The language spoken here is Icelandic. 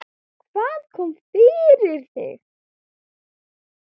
Hvað kom fyrir þig?